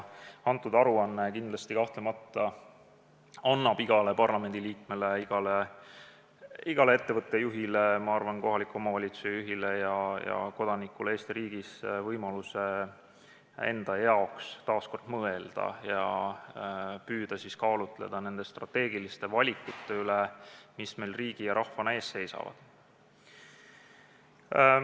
Antud aruanne kindlasti annab igale parlamendiliikmele ja igale ettevõtte juhile, ma arvan, ka kohaliku omavalitsuse juhile ja kodanikule Eesti riigis võimaluse taas kord mõelda nende strateegiliste valikute üle, püüda kaalutleda neid valikuid, mis meil riigi ja rahvana ees seisavad.